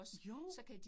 Jo